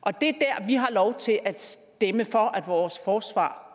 og det er det vi har lov til at stemme for at vores forsvar